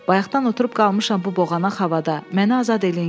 Bayaqdan oturub qalmışam bu boğanaq havada, məni azad eləyin gedim.